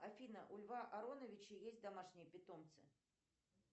афина у льва ароновича есть домашние питомцы